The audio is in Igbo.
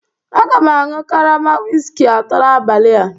Aga m aṅụ karama whiskey atọ n'abalị a